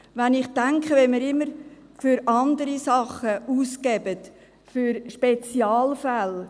Wenn ich denke, wie wir immer Geld für andere Dinge ausgeben, für Spezialfälle.